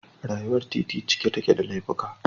Rayuwar titi cike take da laifuka